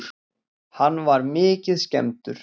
Hann var mikið skemmdur.